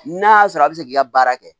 N'a y'a sɔrɔ a bɛ se k'i ka baara kɛ